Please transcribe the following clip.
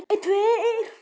Margt kom mér á óvart.